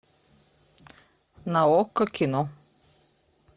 на окко кино